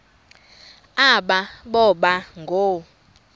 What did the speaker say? aba boba ngoo